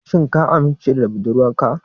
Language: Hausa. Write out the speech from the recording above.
Shin ka amince da budurwarka?